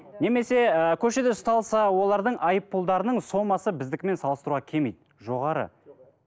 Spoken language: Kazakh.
немесе ыыы көшеде ұсталса олардың айыппұлдарының сомасы біздікімен салыстыруға келмейді жоғары